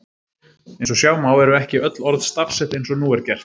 Eins og sjá má eru ekki öll orð stafsett eins og nú er gert.